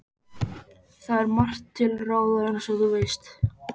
Það er margt til ráða, eins og þú veist